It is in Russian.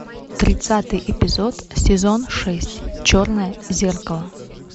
тридцатый эпизод сезон шесть черное зеркало